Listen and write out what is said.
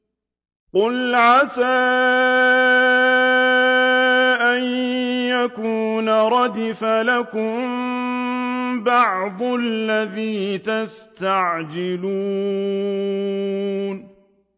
قُلْ عَسَىٰ أَن يَكُونَ رَدِفَ لَكُم بَعْضُ الَّذِي تَسْتَعْجِلُونَ